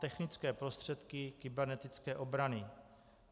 Technické prostředky kybernetické obrany.